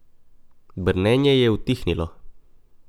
Brnenje je utihnilo.